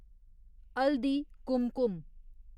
Haldi Kumkum